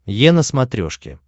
е на смотрешке